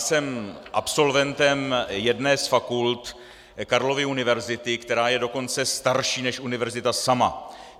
Jsem absolventem jedné z fakult Karlovy univerzity, která je dokonce starší než univerzita sama.